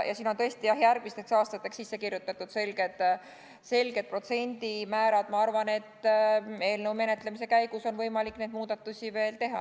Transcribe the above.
Siin on tõesti järgmisteks aastateks sisse kirjutatud selged protsendimäärad, aga ma arvan, et eelnõu menetlemise käigus on võimalik veel muudatusi teha.